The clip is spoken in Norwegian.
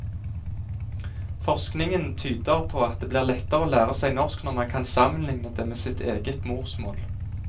Forskningen tyder på at det blir lettere å lære seg norsk når man kan sammenligne det med sitt eget morsmål.